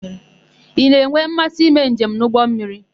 Ị na-enwe mmasị ime njem n'ụgbọmmiri?